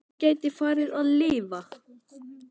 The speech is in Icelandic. Svo ég gæti farið að lifa.